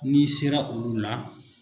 N'i sera olu la.